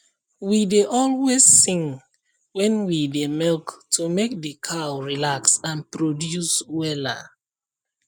we dey always sing when we dey milk to make the cow relax and produce wella